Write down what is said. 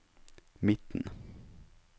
midten